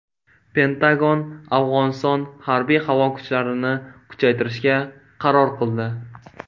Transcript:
Pentagon Afg‘oniston harbiy-havo kuchlarini kuchaytirishga qaror qildi.